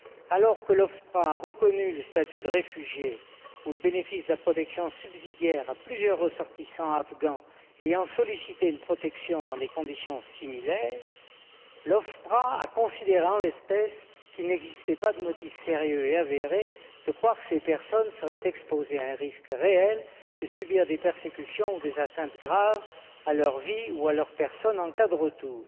Alors que l'OFPRA a reconnu le statut de réfugié ou le bénéfice de la protection subsidiaire à plusieurs ressortissants afghans ayant sollicité une protection dans des conditions similaires, l'OFPRA a considéré en l'espèce, qu'il n'existait pas de motif sérieux et avéré de croire que ces personnes seraient exposées à un risque réel de subir des persécutions ou des atteintes graves à leur vie ou à leur personne en cas de retour.